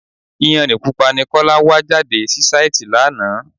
Iyanrìn Pupa ni Kọ́lá wá já sí sàìti lánàá.